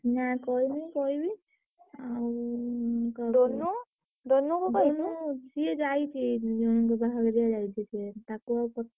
ନା କହିନି କହିବି। ଆଉ ସିଏ ଯାଇଛି ଜଣଙ୍କ ବାହାଘରିଆ ଯାଇଛି ସିଏ ତାକୁ ଆଉ ପ।